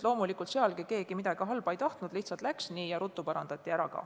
Loomulikult ei tahtnud keegi midagi halba, lihtsalt läks nii ja ruttu parandati ära.